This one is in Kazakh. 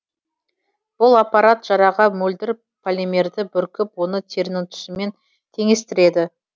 бұл аппарат жараға мөлдір полимерді бүркіп оны терінің түсімен теңестіреді